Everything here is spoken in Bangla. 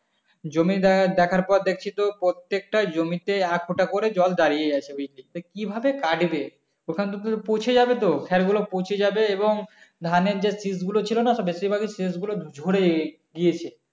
জমি দেখার পর দেখছি তো প্রত্যেকটা জমিতে এতটা করে জল দাঁড়িয়ে আছে ওইদিকে তো কিভাবে কাটবে ওখানে তো উম পচে যাবে তো ফেলগুলো পচে যাবে এবং ধানের যে শিসগুলো ছিলনা তা বেশিরভাগই শিসগুলো ঝরে গিয়েছে